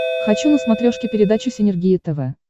хочу на смотрешке передачу синергия тв